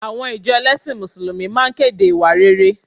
Àwọn ìjọ ẹlẹ́sìn Mùsùlùmí máa kéde ìwà rere